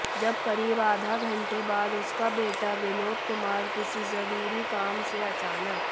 जब करीब आधा घंटे बाद उसका बेटा विनोद कुमार किसी जरूरी काम से अचानक